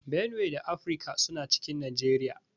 Benue da Abia suna cikin Nageriya